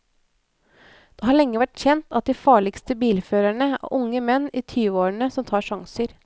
Det har lenge vært kjent at de farligste bilførerne er unge menn i tyveårene som tar sjanser.